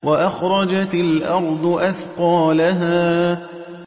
وَأَخْرَجَتِ الْأَرْضُ أَثْقَالَهَا